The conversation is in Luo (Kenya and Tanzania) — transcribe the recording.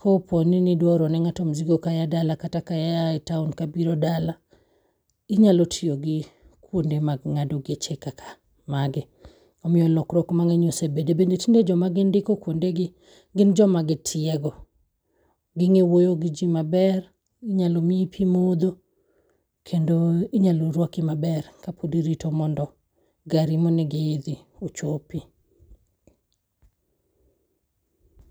kopo nidwa oro ne ng'ato mzigo kaya dala kata ka yaa e town kabiro dala inyalo tiyo gi kuonde mag ng'ado geche ka ka magi omiyo lokruok mang'eny osebede. Bende tinde joma gindiko kuonde gi gin joma gitiego. Ging'e wuoyo gi jii maber ,inyalo miyi pii modho, kendo inyalo rwaki maber kapod irito mondo gari monego iidhi ochopi.